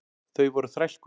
Þau voru þrælkuð.